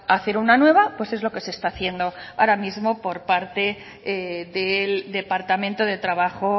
hacer una nueva pues es lo que se está haciendo ahora mismo por parte del departamento de trabajo